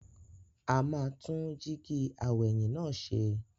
A máa tún jíígi aw'ẹ̀yìn náà ṣe.